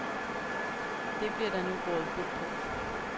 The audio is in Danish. Det bliver der nu rådet bod på.